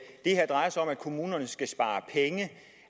her drejer sig om at kommunerne skal spare penge